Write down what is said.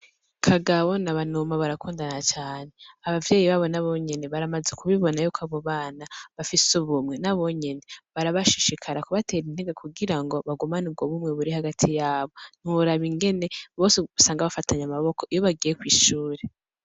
Kagabo na Banuma barakundana cane. Abavyeyi babo nabonyene baramaze ku bibona ko abo bana bafise ubumwe, nabone barabashishikara ku batera intege, kugira ngo bagumane ubwo bumwe buri hagati yabo. Ntiworaba ingene bose usanga bafatanye amaboko iyo bagiye kw'ishure.